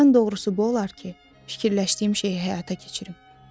Ən doğrusu bu olar ki, fikirləşdiyim şeyi həyata keçirim.